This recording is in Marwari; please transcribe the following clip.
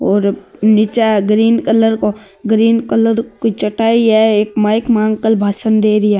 और निचे ग्रीन कलर को ग्रीन कलर की चटाई है एक माइक में अंकल भाषण दे रिया है।